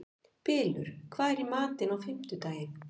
Bylur, hvað er í matinn á fimmtudaginn?